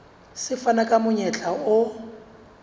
se fana ka monyetla o